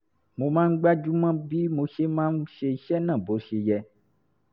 mo máa ń gbájú mọ́ bí mo ṣe máa ṣe iṣẹ́ náà bó ṣe yẹ